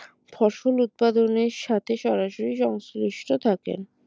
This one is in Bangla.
ফসল উৎপাদনের সাথে সরাসরি সংশ্লিষ্ট থাকেন